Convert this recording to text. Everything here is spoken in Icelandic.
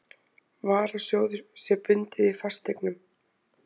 varasjóður, sé bundið í fasteignum.